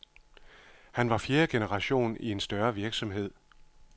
Han var fjerde generation i en større virksomhed.